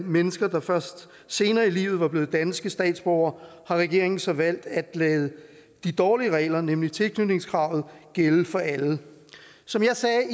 mennesker der først senere i livet er blevet danske statsborgere har regeringen så valgt at lade de dårlige regler nemlig tilknytningskravet gælde for alle som jeg sagde